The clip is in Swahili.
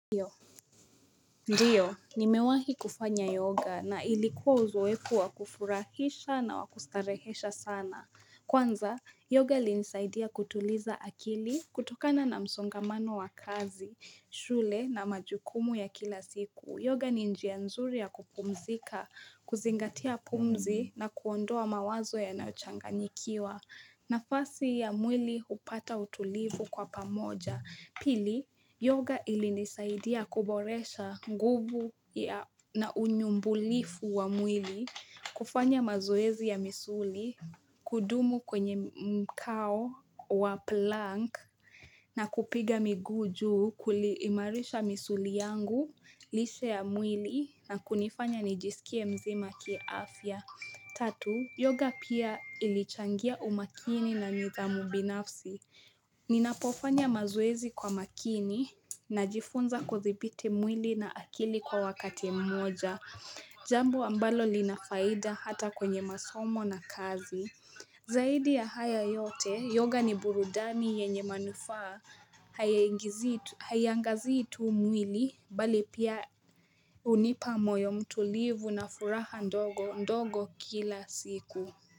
Ndiyo, ni mewahi kufanya yoga na ilikuwa uzoefu wakufurahisha na wakustarehesha sana. Kwanza, yoga ilinisaidia kutuliza akili kutokana na msongamano wa kazi, shule na majukumu ya kila siku. Yoga ni njia nzuri ya kupumzika, kuzingatia pumzi na kuondoa mawazo yanayochanga nyikiwa. Na fasi ya mwili upata utulivu kwa pamoja. Pili, yoga ilinisaidia kuboresha nguvu na unyumbulifu wa mwili, kufanya mazoezi ya misuli, kudumu kwenye mkao wa plank na kupiga miguu juu kuimarisha misuli yangu lishe ya mwili na kunifanya nijisikie mzima kia afya. Tatu, yoga pia ilichangia umakini na nidhamu binafsi. Ninapofanya mazoezi kwa makini na jifunza kuthibiti mwili na akili kwa wakati mmoja. Jambo ambalo linafaida hata kwenye masomo na kazi. Zaidi ya haya yote, yoga ni burudani yenye manufaa. Haiangazii tu mwili bali pia unipa moyo mtulivu na furaha ndogo ndogo kila siku.